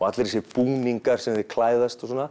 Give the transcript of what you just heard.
allir þessir búningar sem þeir klæðast og svona